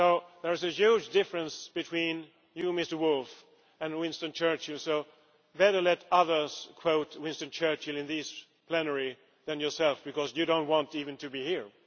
There is a huge difference between you, Mr Woolfe, and Winston Churchill so better let others quote Winston Churchill in this plenary, rather than yourself, because you do not want even to be here.